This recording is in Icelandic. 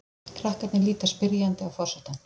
Krakkarnir líta spyrjandi á forsetann.